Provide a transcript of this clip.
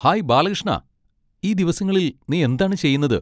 Hi ബാലകൃഷ്ണാ, ഈ ദിവസങ്ങളിൽ നീ എന്താണ് ചെയ്യുന്നത്?